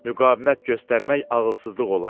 Müqavimət göstərmək ağılsızlıq olardı.